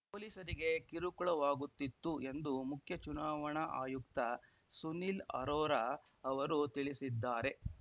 ಪೊಲೀಸರಿಗೆ ಕಿರುಕುಳವಾಗುತ್ತಿತ್ತು ಎಂದು ಮುಖ್ಯ ಚುನಾವಣಾ ಆಯುಕ್ತ ಸುನಿಲ್‌ ಅರೋರಾ ಅವರು ತಿಳಿಸಿದ್ದಾರೆ